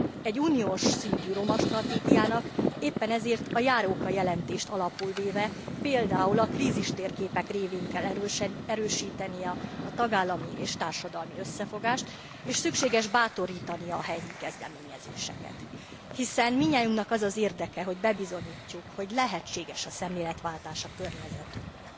Egy uniós szintű roma stratégiának éppen ezért a Járóka jelentést alapul véve, például a krízistérképek révén kell erősítenie a tagállami és társadalmi összefogást, és szükséges bátorítania a helyi kezdeményezéseket. Hiszen mindnyájunknak az az érdeke, hogy bebizonyítsuk, hogy lehetséges a szemléletváltás a környezetünkről.